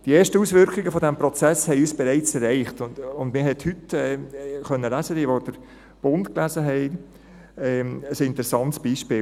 Die ersten Auswirkungen dieses Prozesses haben uns bereits erreicht, und man hat heute ein interessantes Beispiel lesen können, jene, die den «Bund» gelesen haben: